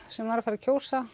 sem var að fara að kjósa